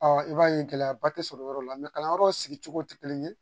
i b'a ye gɛlɛyaba tɛ sɔrɔ yɔrɔ la kalanyɔrɔ sigi cogo tɛ kelen ye